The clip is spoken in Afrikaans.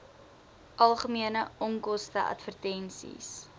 algemene onkoste advertensies